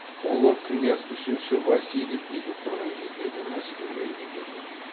ұлы князь үшінші василий билік құрған кездегі мәскеу мемлекеті еді